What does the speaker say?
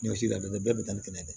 Ɲɔsi la dɛ bɛɛ be taa ni kɛnɛya ye dɛ